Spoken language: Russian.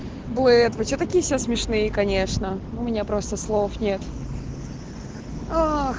блэд вы что такие все смешные конечно у меня просто слов нет ах